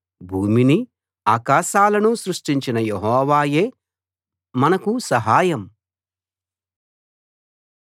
భూమినీ ఆకాశాలనూ సృష్టించిన యెహోవాయే మనకు సహాయం